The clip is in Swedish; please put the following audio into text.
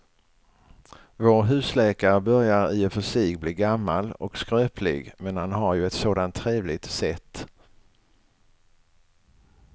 Vår husläkare börjar i och för sig bli gammal och skröplig, men han har ju ett sådant trevligt sätt!